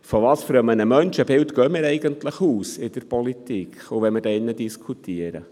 Von welchem Menschenbild gehen wir denn eigentlich in der Politik aus, auch wenn wir hier drin diskutieren?